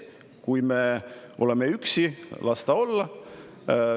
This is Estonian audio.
Kui me oleme üksi, siis las nii olla.